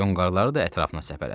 Yonğarları da ətrafına səpələdi.